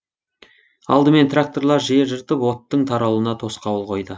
алдымен тракторлар жер жыртып оттың таралуына тосқауыл қойды